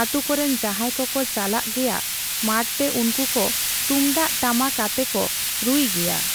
ᱟᱛᱩ ᱠᱚᱨᱮᱱ ᱡᱟᱦᱟᱸᱭ ᱠᱚᱠᱚ ᱪᱟᱞᱟᱜ ᱜᱮᱭᱟ ᱢᱟᱴᱛᱮ ᱩᱱᱠᱩᱠᱚ ᱛᱩᱢᱫᱟᱜᱽ ᱴᱟᱢᱟᱠ ᱟᱛᱮ ᱠᱚ ᱨᱩᱭ ᱜᱮᱭᱟ ᱾